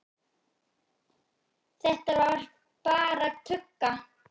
Þetta var bara tugga.